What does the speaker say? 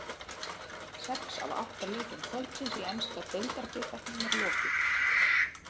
Sex af átta leikjum kvöldsins í enska deildabikarnum er lokið.